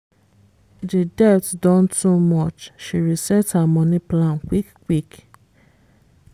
de debt don too much she reset her money plan quick-quick.